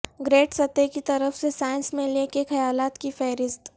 grade سطح کی طرف سے سائنس میلے کے خیالات کی فہرست